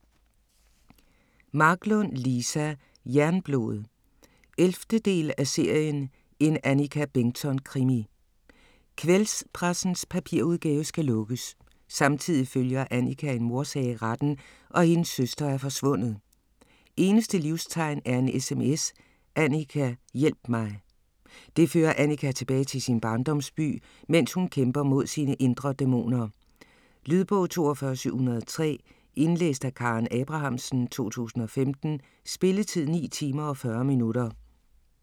Marklund, Liza: Jernblod 11. del af serien En Annika Bengtzon krimi. Kvällspressens papirudgave skal lukkes. Samtidig følger Annika en mordsag i retten, og hendes søster er forsvundet. Eneste livstegn er en sms: Annika, hjælp mig! Det fører Annika tilbage til sin barndomsby, mens hun kæmper mod sine indre dæmoner. Lydbog 42703 Indlæst af Karen Abrahamsen, 2015. Spilletid: 9 timer, 40 minutter.